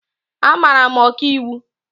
Amara m Ọkaiwu